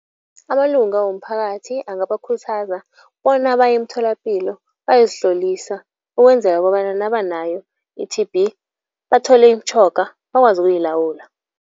Amalunga womphakathi angabakhuthaza bona baye emtholapilo bayozihlolisa ukwenzela kobana nabanayo i-T_B bathole imitjhoga bakwazi ukuyilawula.